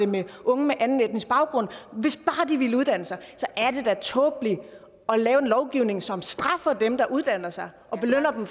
med unge med anden etnisk baggrund hvis bare de ville uddanne sig så er det da tåbeligt at lave en lovgivning som straffer dem der uddanner sig og belønner dem